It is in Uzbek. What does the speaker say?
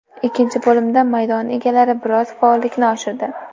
Ikkinchi bo‘limda maydon egalari biroz faollikni oshirdi.